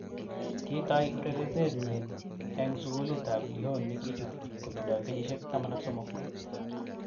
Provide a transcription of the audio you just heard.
Kitai urerenet nyinneng sugulit ab Lyon nikichut kotindo kenyisiek 13.